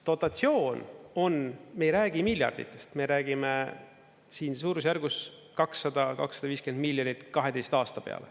Dotatsioon on, me ei räägi miljarditest, me räägime siin suurusjärgust 200–250 miljonit 12 aasta peale.